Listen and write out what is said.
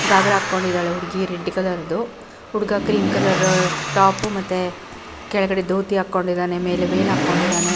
ಗಾಗ್ರಾ ಹಾಕೊಂಡಿದ್ದಾಳೆ ಹುಡ್ಗಿ ರೆಡ್ ಕಲರ ದು ಹುಡ್ಗ ಕ್ರೀಮ್ ಕಲರ್ ಟಾಪ್ ಮತ್ತೆ ಕೆಳಗಡೆ ದೋತಿ ಹಾಕೊಂಡಿದ್ದಾನೆ ಮೇಲೆ ವೆಲ್ ಹಾಕೊಂಡಿದ್ದಾನೆ .